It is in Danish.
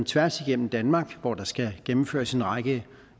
tværs igennem danmark hvor der skal gennemføres en række